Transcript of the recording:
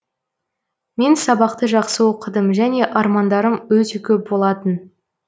мен сабақты жақсы оқыдым және армандарым өте коп болатын